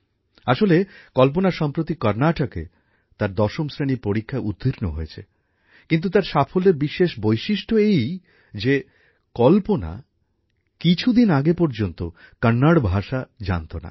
আসলে কল্পনা সম্প্রতি কর্ণাটকে তার দশম শ্রেণীর পরীক্ষায় উত্তীর্ণ হয়েছে কিন্তু তার সাফল্যের বিশেষ বৈশিষ্ট্য এই যে কল্পনা কিছুদিন আগে পর্যন্ত কন্নড় ভাষা জানত না